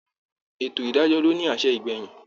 Ètò ìdájọ́ ló ní àṣẹ ìgbẹ̀yìn